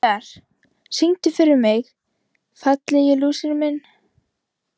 Vinjar, syngdu fyrir mig „Fallegi lúserinn minn“.